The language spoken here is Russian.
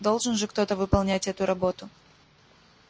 должен же кто-то выполнять эту работу